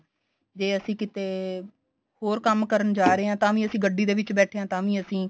ਜੇ ਅਸੀਂ ਕਿਤੇ ਹੋਰ ਕੰਮ ਕਰਨ ਜਾ ਰਹੇ ਹਾਂ ਤਾਂ ਵੀ ਅਸੀਂ ਗੱਡੀ ਦੇ ਵਿੱਚ ਬੈਠੇ ਆ ਤਾਂ ਵੀਂ ਅਸੀਂ